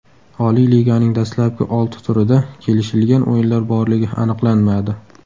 Oliy Liganing dastlabki olti turida kelishilgan o‘yinlar borligi aniqlanmadi.